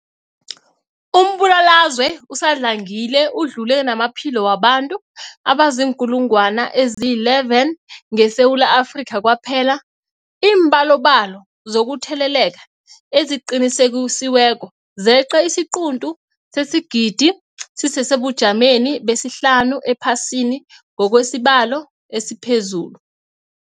Umbulalazwe usadlangile udlule namaphilo wabantu abaziinkulungwana ezi-11 ngeSewula Afrika kwaphela. Iimbalobalo zokutheleleka eziqinisekisiweko zeqe isiquntu sesigidi, sisesebujameni besihlanu ephasini ngokwesibalo esiphezulu.